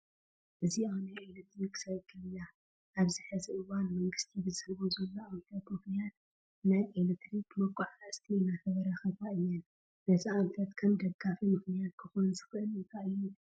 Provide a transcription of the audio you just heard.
እዚኣ ናይ ኤለክትሪክ ሳይክል እያ፡፡ ኣብዚ ሕዚ እዋን መንግስቲ ብዝሕቦ ዘሎ ኣንፈት ምኽንያት ናይ ኤለክትሪክ መጓዓዓዝቲ እናተበራኸታ እየን፡፡ ነዚ ኣንፈት ከም ደፋኢ ምኽንያት ክኾን ዝኽእል ታይ እዩ?